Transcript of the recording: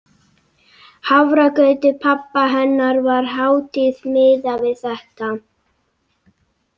Hafragrautur pabba hennar var hátíð miðað við þetta.